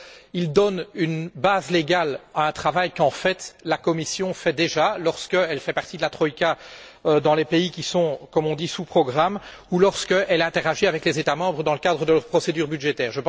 Ils donnent une base légale à un travail, qu'en fait, la Commission réalise déjà lorsqu'elle fait partie de la troïka dans les pays qui sont, comme on dit, sous programme ou lorsqu'elle interagit avec les États membres dans le cadre de leur procédure budgétaire.